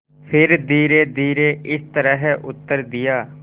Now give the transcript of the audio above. फिर धीरेधीरे इस तरह उत्तर दिया